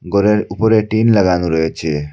ঘরের উপরে টিন লাগানো রয়েছে।